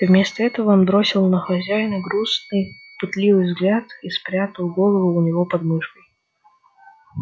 вместо этого он бросил на хозяина грустный пытливый взгляд и спрягал голову у него под мышкой